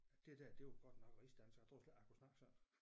At det der det var godt nok rigsdansk jeg troede slet ikke jeg kunne snakke sådan